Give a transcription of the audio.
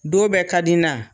Don bɛɛ ka di n na